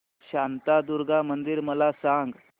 शांतादुर्गा मंदिर मला सांग